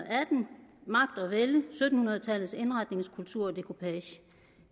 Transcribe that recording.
vælde sytten hundrede tallets indretningskultur og dekupage